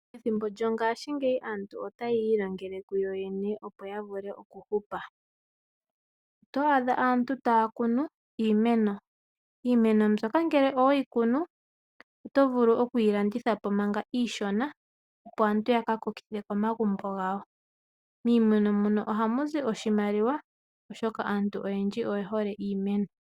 Ethimbo lyongashingeyi aantu ota ya ilongele kuyoyene, opo ya vule oku hupa. Oto adha aantu taa kunu iimeno. Iimeno mbyoka ngele owe yi kunu, oto vulu oku yi landitha po manga iishona opo aantu ya ka kokithe komagumbo gawo. Miimeno mono oha mu zi oshimaliwa oshoka aantu oyendji oye hole iimeno.